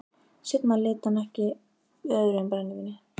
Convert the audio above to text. Seinna leit hann ekki við öðru en brennivíni.